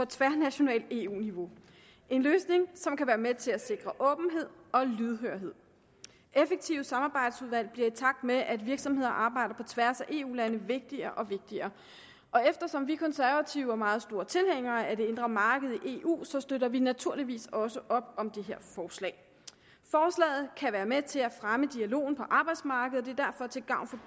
tværnationalt eu niveau en løsning som kan være med til at sikre åbenhed og lydhørhed effektive samarbejdsudvalg bliver i takt med at virksomheder arbejder på tværs af eu lande vigtigere og vigtigere og eftersom vi konservative er meget store tilhængere af det indre marked i eu støtter vi naturligvis også op om det her forslag forslaget kan være med til at fremme dialogen på arbejdsmarkedet og det er derfor til gavn